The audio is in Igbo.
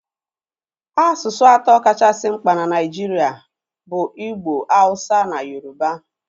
Asụsụ atọ kachasị mkpa na Naijiria bụ Igbo, Hausa na Yoruba.